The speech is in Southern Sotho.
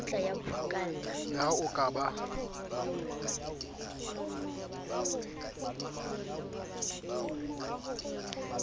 le ha o ka ba